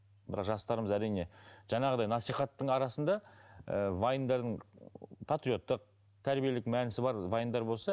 бірақ жастарымыз әрине жаңағыдай насихаттың арасында ыыы вайндардың патриоттық тәрбиелік мәнісі бар вайндар болса